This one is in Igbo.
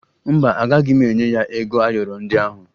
Mba, agaghị m enye ya ego ayọrọ ndị ahụ